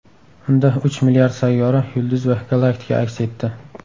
Unda uch milliard sayyora, yulduz va galaktika aks etdi.